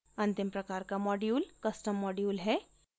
अंतिम प्रकार का module custom module है